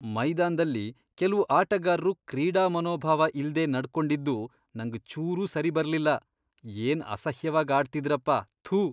ಮೈದಾನ್ದಲ್ಲಿ ಕೆಲ್ವು ಆಟಗಾರ್ರು ಕ್ರೀಡಾಮನೋಭಾವ ಇಲ್ದೇ ನಡ್ಕೊಂಡಿದ್ದು ನಂಗ್ ಚೂರೂ ಸರಿಬರ್ಲಿಲ್ಲ.. ಏನ್ ಅಸಹ್ಯವಾಗ್ ಆಡ್ತಿದ್ರಪ.. ಥು.